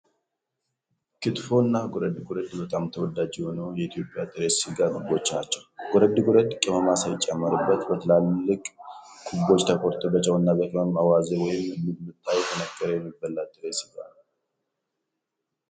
ክትፎ እና ጎረድ ጎረድ በጣም ተወዳጅ የሆኑ የኢትዮጵያ ጥሬ ሥጋ ምግቦች ናቸው። ጎረድ ጎረድ ቅመማ ሳይጨመርበት በትላልቅ ኩቦች ተቆርጦ በጨውና በቅመም አዋዜ ወይም ሚጥሚጣ እየተነከረ የሚበላ ጥሬ ሥጋ ነው።